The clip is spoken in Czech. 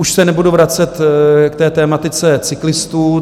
Už se nebudu vracet k té tematice cyklistů.